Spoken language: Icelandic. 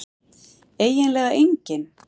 eiginlega enginn